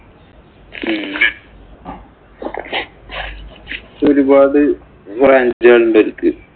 ഒരുപാട് branch ഉകള്‍ ഉണ്ട് അവര്ക്ക്.